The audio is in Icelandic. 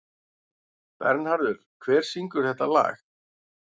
Bernharður, hver syngur þetta lag?